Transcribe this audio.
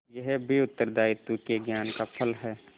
यह भी उत्तरदायित्व के ज्ञान का फल है